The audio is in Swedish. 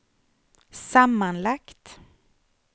sammanlagt